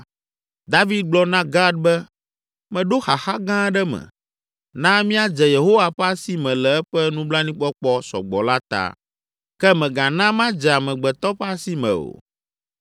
David gblɔ na Gad be, “Meɖo xaxa gã aɖe me. Na míadze Yehowa ƒe asi me le eƒe nublanuikpɔkpɔ sɔ gbɔ la ta, ke mègana madze amegbetɔ ƒe asi me o.”